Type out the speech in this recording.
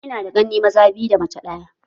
Ina da ƙanne maza biyu da mace ɗaya